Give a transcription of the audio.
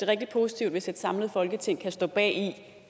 rigtig positivt hvis et samlet folketing kan stå bag